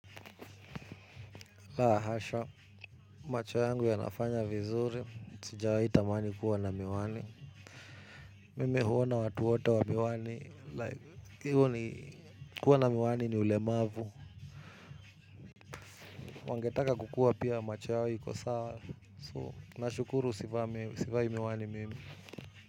La hasha, macho yangu yanafanya vizuri, sijawahi tamani kuwa na miwani. Mimi huona watu wote wa miwani, like, hivo ni kuwa na miwani ni ulemavu. Wangetaka kukuwa pia macho yao iko sawa, so, nashukuru sivai miwani mimi.